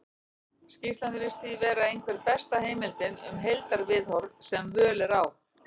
skýrslan virðist því vera einhver besta heimildin um heildarviðhorf sem völ er á